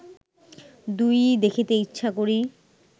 দুই-ই দেখিতে ইচ্ছা করি